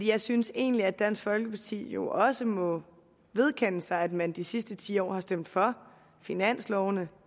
jeg synes egentlig at dansk folkeparti jo også må vedkende sig at man de sidste ti år har stemt for finansloven